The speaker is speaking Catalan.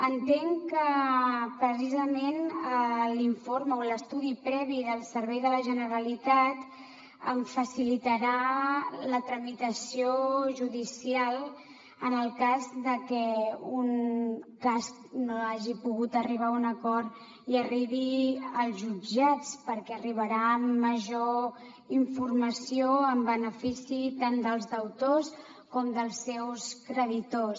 entenc que precisament l’informe o l’estudi previ del servei de la generalitat em facilitarà la tramitació judicial en el cas de que un cas no hagi pogut arribar a un acord i arribi als jutjats perquè arribarà amb major informació en benefici tant dels deutors com dels seus creditors